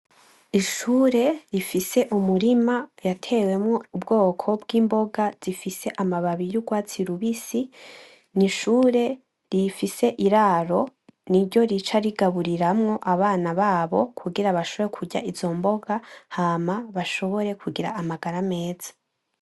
Ishure rifise umurima yatewemwo ubwoko bw'imboga zifise amababi y'urwatsi rubisi, ni ishure rifise iraro, niryo rica rigaburiramwo abana babo kugira bashobore kurya izo mboga hama bashobore kugira amagara meza.